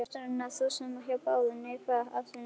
Ástæðan var sú sama hjá báðum: Neikvæð afstaða til kynlífs.